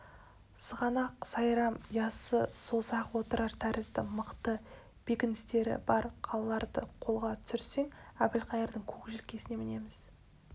сығанақ сайрам яссы созақ отырар тәрізді мықты бекіністері бар қалаларды қолға түсірсең әбілқайырдың көк желкесіне мінеміз